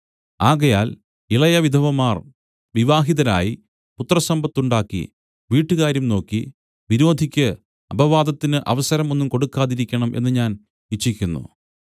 ആകയാൽ ഇളയ വിധവമാർ വിവാഹിതരായി പുത്രസമ്പത്തുണ്ടാക്കി വീട്ടുകാര്യം നോക്കി വിരോധിക്ക് അപവാദത്തിന് അവസരം ഒന്നും കൊടുക്കാതിരിക്കണം എന്ന് ഞാൻ ഇച്ഛിക്കുന്നു